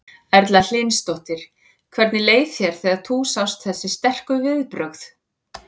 Erla Hlynsdóttir: Hvernig leið þér þegar þú sást þessi sterku viðbrögð?